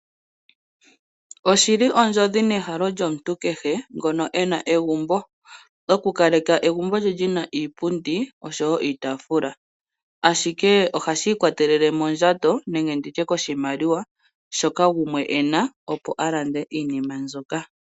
Oshili ondjodhi nehalo lyomuntu kehe ngono ena egumbo , okukaleka egumbo lye lyina iipundi oshowoo iitaafula. Ashike ohashi ikwatelele mondjato nenge koshimaliwa shoka gumwe ena opo alande iinima mbyoka.